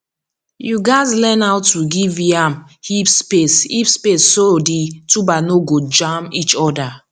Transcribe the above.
you gatz learn how to give yam heaps space heaps space so the tubers no go jam each other